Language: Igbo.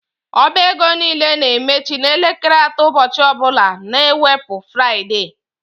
Ọba égo niile na-emechi n' elekere atọ ụbọchị ọbula na ewepu Fruaide.